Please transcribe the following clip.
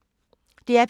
DR P2